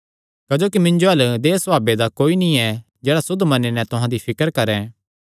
क्जोकि मिन्जो अल्ल देहय् सभावे दा कोई नीं जेह्ड़ा सुद्ध मने नैं तुहां दी फिकर करैं